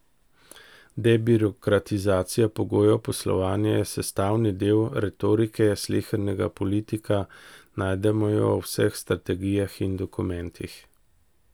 Debirokratizacija pogojev poslovanja je sestavni del retorike slehernega politika, najdemo jo v vseh strategijah in dokumentih.